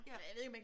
Ja